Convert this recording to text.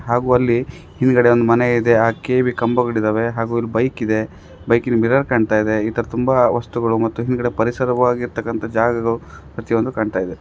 ಹಾಗು ಅಲ್ಲಿ ಹಿಂದ್ಗಡೆ ಒಂದ್ ಮನೆ ಇದೆ ಆ ಕೆ.ಈ.ಬಿ ಕಂಬಗಳು ಇದಾವೆ ಹಾಗು ಇಲ್ಲಿ ಬೈಕ್ ಇದೆ ಬೈಕಿನ ಮಿರರ್ ಕಾಣ್ತಾ ಇದೆ ಈ ತರ ತುಂಬಾ ವಸ್ತುಗಳು ಮತ್ತು ಹಿಂದಗಡೆ ಪರಿಸರವಾಗಿರತ್ತಕ್ಕಂತಹ ಜಾಗಗಳು ಪ್ರತಿಯೊಂದು ಕಾಣ್ತಾ ಇದೆ.